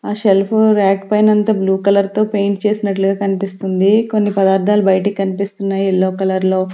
ఆ shelf rack పైనంతా blue colour తో పెయింట్ చేసినట్లుగా కనిపిస్తుంది కొన్ని పదార్థాలు బయటకి కనిపిస్తున్నాయి ఎల్లో కలర్ లో.